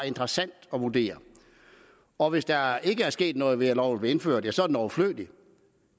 interessant at vurdere og hvis der ikke er sket noget ved at loven er blevet indført ja så er den overflødig